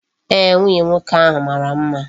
Eeh, nwunye nwoke ahu mara mma.